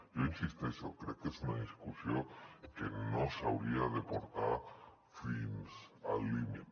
jo hi insisteixo crec que és una discussió que no s’hauria de portar fins al límit